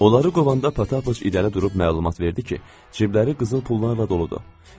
Onları qovanda pataç irəli durub məlumat verdi ki, cibləri qızıl pullarla doludur.